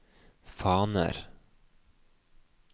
faner